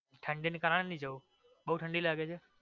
ઠંડી ની કારણ નાઈ જવું બોવ ઠંડી લાગે છે?